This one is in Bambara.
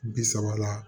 Bi saba la